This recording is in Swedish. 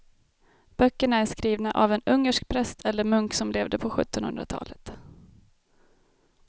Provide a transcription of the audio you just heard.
Böckerna är skrivna av en ungersk präst eller munk som levde på sjuttonhundratalet.